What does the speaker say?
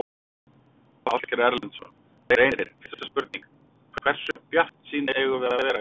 Ásgeir Erlendsson: Reynir, fyrsta spurning, hversu bjartsýn eigum við að vera í kvöld?